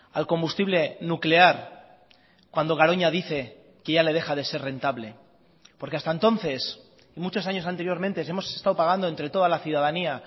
al combustible nuclear cuando garoña dice que ya le deja de ser rentable porque hasta entonces y muchos años anteriormente hemos estado pagando entre toda la ciudadanía